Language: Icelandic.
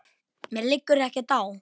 Mér liggur ekkert á.